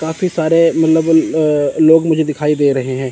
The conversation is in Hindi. काफी सारे मतलब अ लोग मुझे दिखाई दे रहे हैं।